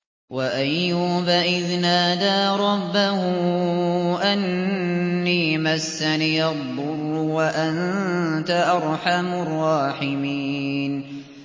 ۞ وَأَيُّوبَ إِذْ نَادَىٰ رَبَّهُ أَنِّي مَسَّنِيَ الضُّرُّ وَأَنتَ أَرْحَمُ الرَّاحِمِينَ